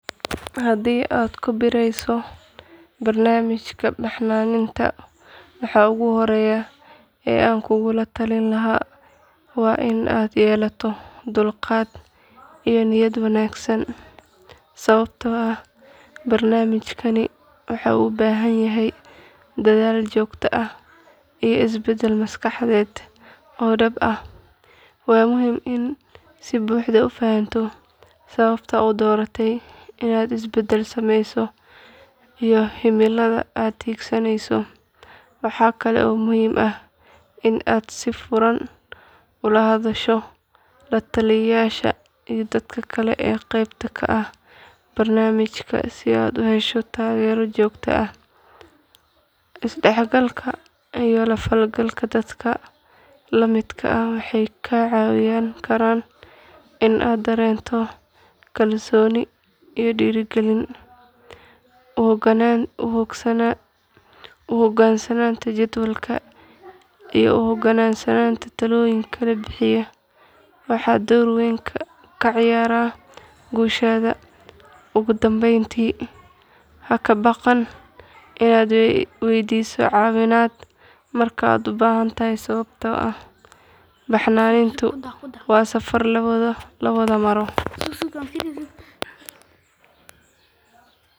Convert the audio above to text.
Haddii aad ku biirayso barnaamijka baxnaaninta waxa ugu horreeya ee aan kugula talin lahaa waa in aad yeelato dulqaad iyo niyad wanaagsan sababtoo ah barnaamijkani waxa uu u baahan yahay dadaal joogto ah iyo isbeddel maskaxeed oo dhab ah. Waa muhiim inaad si buuxda u fahanto sababta aad u dooratay inaad isbeddel sameyso iyo himilada aad hiigsanayso. Waxa kale oo muhiim ah inaad si furan ula hadasho la taliyayaasha iyo dadka kale ee qeybta ka ah barnaamijka si aad u hesho taageero joogto ah. Isdhexgalka iyo la falgalka dadka la midka ah waxay kaa caawin kartaa in aad dareento kalsooni iyo dhiirigelin. U hoggaansanaanta jadwalka iyo u hogaansanaanta talooyinka la bixiyo waxay door weyn ka ciyaaraan guushaada. Ugu dambeyntii, ha ka baqan inaad weydiiso caawimaad marka aad u baahato sababtoo ah baxnaanintu waa safar la wada maro.